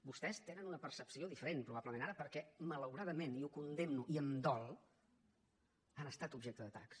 vostès tenen una percepció diferent probablement ara perquè malauradament i ho condemno i em dol han estat objecte d’atacs